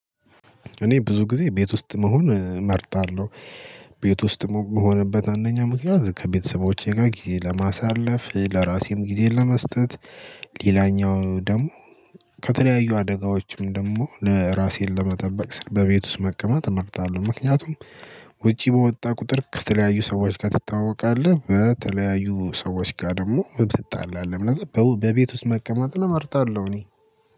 እኔ ብዙ ጊዜ ቤት ውስጥ መሆን እመርጣለሁ ቤት ውስጥ መሆንበት አንደኛ ምክንያት ከቤተሰቦቼ ጋር ጊዜ ለማሳለፍ ለራሴም ጊዜን ለመስጠት። ሌላኛው ደግሞ ከተለያዩ አደጋዎችም ደግሞ ለራሴን ለመጠበቅ ስል በቤት ውስጥ መቀመጥ እመርጣለሁ። ምክንያቱም ውጪ በወጣ ቁጥር ከተለያዩ ሰዎች ጋር ትታወቃለህ በተለያዩ ሰዎች ጋር ደግሞ ትጣላለህ ለዛ በቤት ውስጥ መቀመጥን እመርጣለሁ። እኔ